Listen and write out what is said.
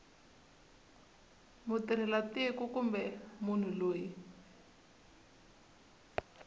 mutirhela tiko kumbe munhu loyi